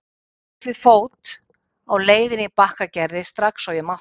Ég hljóp við fót á leiðinni í Bakkagerði strax og ég mátti.